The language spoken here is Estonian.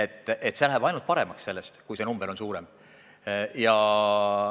Nii et läheb ainult paremaks, kui see number on suurem.